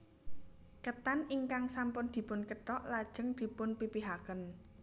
Ketan ingkang sampun dipun kethok lajeng dipun pipihaken